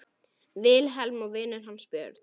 Vilhelm og vinur hans Björn.